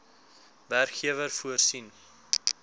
werkgewer voorsien